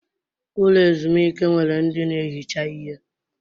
Ụlọ ezumike nwere ndi na-ehicha ihe.